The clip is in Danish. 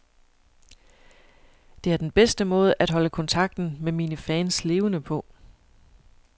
Det er den bedste måde at holde kontakten med mine fans levende på.